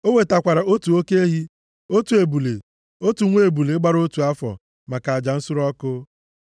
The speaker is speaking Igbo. O wetakwara otu oke ehi, otu ebule, otu nwa ebule gbara otu afọ maka aja nsure ọkụ.